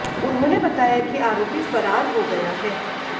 उन्होंने बताया कि आरोपी फरार हो गया है